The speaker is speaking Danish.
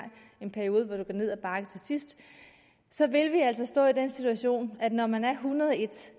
en periode hvor det går ned ad bakke til sidst så vil vi altså stå i den situation at når man er en hundrede og en